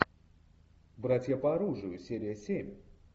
братья по оружию серия семь